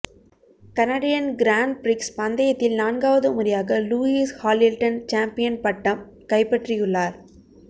Canadian grand prix பந்தையத்தில் நான்காவது முறையாக லூயிஸ் ஹாலில்டன் சாம்பியன் பட்டம் கைப்பற்றியுள்ளார்